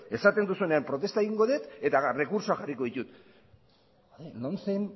esaten duzuenean protesta egingo dut eta errekurtsoa jarriko ditut lomcen